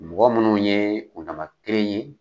Mɔgɔ minnu ye kundama kelenre ye.